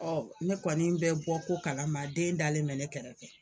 ne kɔni bɛ bɔ ko kalama den dalen mɛ ne kɛrɛfɛ